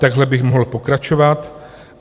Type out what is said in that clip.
Takhle bych mohl pokračovat.